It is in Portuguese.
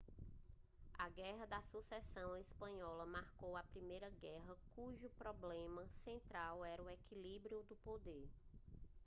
a guerra da sucessão espanhola marcou a primeira guerra cujo problema central era o equilíbrio do poder